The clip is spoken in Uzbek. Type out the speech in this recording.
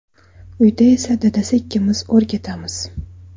Uyda esa dadasi ikkimiz o‘rgatamiz.